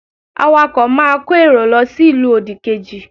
Awakọ̀ máa kó èrò lọ sí ìlú òdì kejì